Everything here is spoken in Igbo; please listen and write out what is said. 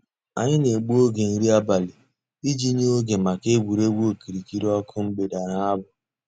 Ànyị̀ nà-ègbù ògè nrí àbàlị̀ íjì nyè ògè mǎká ègwè́régwụ̀ òkìrìkìrì ǒkụ̀ mgbèdè nà àbụ̀.